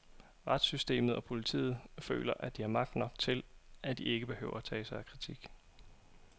Retssystemet og politiet føler, at de har magt nok til, at de ikke behøver tage sig af kritik.